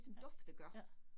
Ja, ja